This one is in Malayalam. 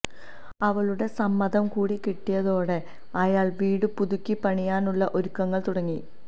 അവളുടെ സമ്മതം കൂടി കിട്ടിയതോടെ അയാള് വീട് പുതുക്കി പണിയാനുള്ള ഒരുക്കങ്ങള് തുടങ്ങി